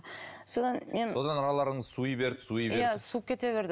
содан мен содан араларыңыз суи берді суи берді иә суып кете берді